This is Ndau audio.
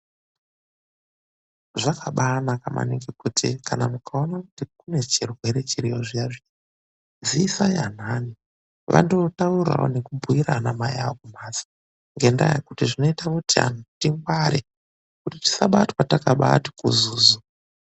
Zvakabaanaka maningi kuti kana mukaona kuti kune chirwere chiriyo zviya zviya, ziisai anhanhi , vandootaurawo nekubhuira anamai awo kumhatso, ngendaa yekuti zvinoita kuti tingware, kuti tisaramba takabaati kuzuzu.